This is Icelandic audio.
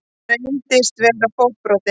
Hann reyndist vera fótbrotinn